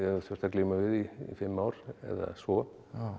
þurft að glíma við í fimm ár eða svo